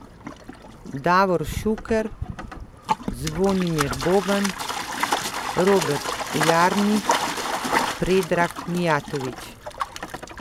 Davor Šuker, Zvonimir Boban, Robert Jarni, Predrag Mijatović ...